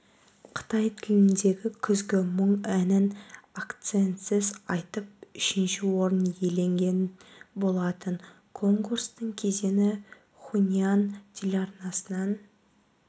қытай тіліндегі күзгі мұң әнін акцентсіз айтып үшінші орын иеленген болатын конкурстың кезеңі хунань телеарнасынан